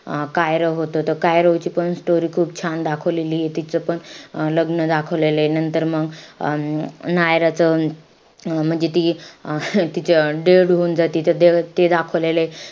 अं कायरो होतो. त कायरोची पण story खूप छान दाखवलेलीय. तिचं पण लग्न दाखवलेलंय. तर मंग अं नायरांचं अं म्हणजे ती तिचं dead होऊन जाती त म ते दाखवलेलंय.